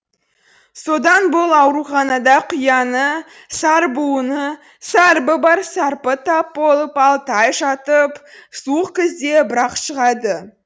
содан бұл ауруханада құяңы сарбуыны сарыбы бар сары тап болып алты ай жатып суық күзде бірақ шығады